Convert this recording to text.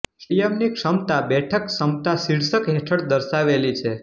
સ્ટેડિયમની ક્ષમતા બેઠક ક્ષમતા શીર્ષક હેઠળ દર્શાવેલી છે